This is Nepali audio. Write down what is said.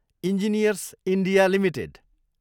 engineers India Ltd